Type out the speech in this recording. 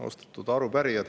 Austatud arupärijad!